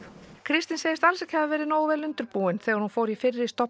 Kristín segist alls ekki hafa verið nógu vel undirbúin þegar hún fór í fyrri